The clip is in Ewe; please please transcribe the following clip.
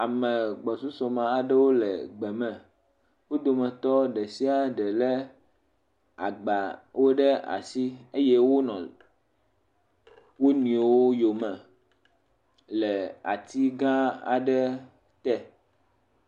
Ame gbɔsusu me aɖewo le gbe me. Wo dometɔ ɖe sia ɖe lé agbawo ɖe asi eye wonɔ wo nɔewo yome le ati gã aɖe te.